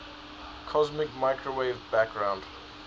cosmic microwave background